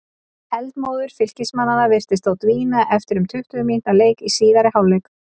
Eldmóður Fylkismanna virtist þó dvína eftir um tuttugu mínútna leik í síðari hálfleik.